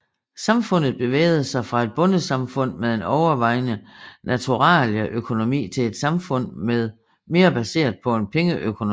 Samfundet bevægede sig fra et bondesamfund med en overvejende naturalieøkonomi til et samfund mere baseret på pengeøkonomi